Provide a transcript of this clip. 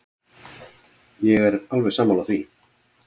Ég er alveg sammála því.